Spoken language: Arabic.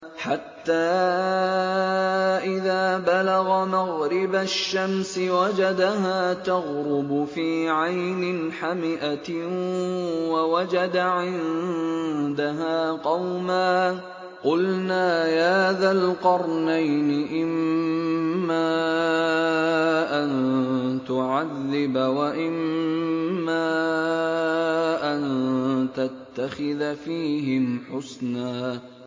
حَتَّىٰ إِذَا بَلَغَ مَغْرِبَ الشَّمْسِ وَجَدَهَا تَغْرُبُ فِي عَيْنٍ حَمِئَةٍ وَوَجَدَ عِندَهَا قَوْمًا ۗ قُلْنَا يَا ذَا الْقَرْنَيْنِ إِمَّا أَن تُعَذِّبَ وَإِمَّا أَن تَتَّخِذَ فِيهِمْ حُسْنًا